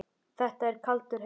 Þetta er kaldur heimur.